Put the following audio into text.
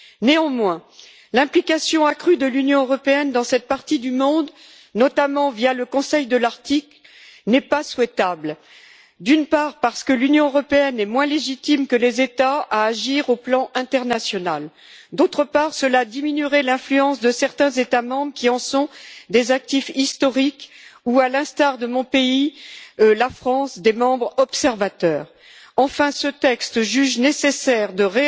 Néanmoins, l'implication accrue de l'Union européenne dans cette partie du monde, notamment via le Conseil de l'Arctique, n'est pas souhaitable, d'une part, parce que l'action de l'Union européenne dans ce domaine est moins légitime que celle des États sur le plan international et d'autre part, parce que cela diminuerait l'influence de certains États membres qui en sont des actifs historiques ou, à l'instar de mon pays, la France, des membres observateurs. Enfin, ce texte juge nécessaire de